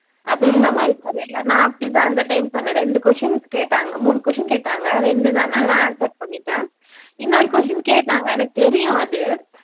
அப்படின்ற மாதிரி சொல்லிருந்தா நான் அப்படி தான் இந்த time சொன்னேன் ரெண்டு questions கேட்டாங்க மூணு question கேட்டாங்க ரெண்டு நான் நல்லா answer பண்ணிட்டேன் உன்னோரு question கேட்டாங்க எனக்கு தெரியும் அது